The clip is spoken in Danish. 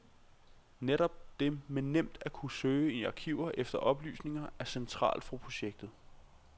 Netop det med nemt at kunne søge i arkiver efter oplysninger er centralt for projektet.